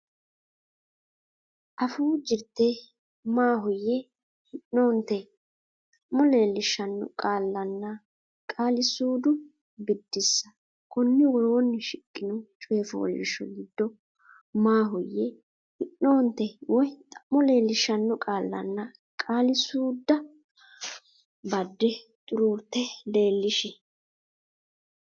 Afuu Jirte Maahoyye, Hi’noonte, Xa’mo Leellishshanno Qaallanna Qaali suudda Biddissa Konni woroonni shiqqino coy fooliishsho giddo maahoyye, hi’noonte woy xa’mo leellishshanno qaallanna qaali suudda badde xuruurte leellishi.